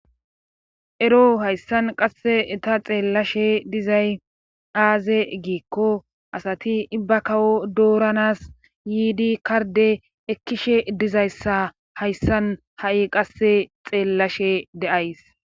Ero hayssan qasse ta xeellashe dizay aaze giikko asati ibba kawo dooranas yiidi karde ekkishe dizayssa hayssan ha7i qasse xeellashe de7ays.